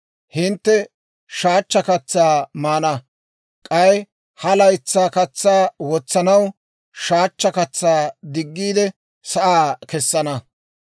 Hintte shaachcha katsaa maana; k'ay ha laytsaa katsaa wotsanaw, shaachcha katsaa diggiide sa'aa kessana.